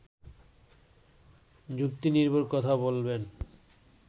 যুক্তিনির্ভর কথা বলবেন